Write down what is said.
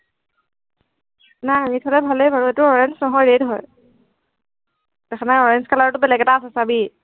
নাই দেখাতে ভালেই বাৰু, এইটো orange নহয়, red হয়। দেখা নাই orange color টো বেলেগ এটা আছে, চাবি